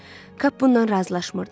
Kap bundan razılaşmırdı.